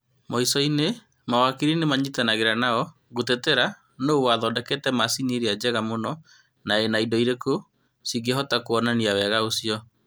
Muico-inĩ, mawakiri nĩmanyitanagĩra nao, gũtetera nũ wathondekete macini irĩa njega mũno na nĩ indo irĩku cingĩhota kuonania wega ũcio